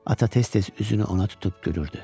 Ata tez-tez üzünü ona tutub gülürdü.